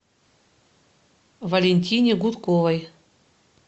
валентине гудковой